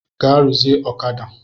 Gaa ruzie ọ̣kada!